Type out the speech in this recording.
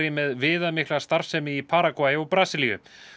með viðamikla starfsemi í Paragvæ og Brasilíu